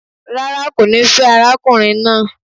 Rárá, kò ní fẹ́ arákùnrin naa